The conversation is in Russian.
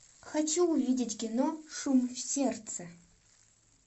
хочу увидеть кино шум в сердце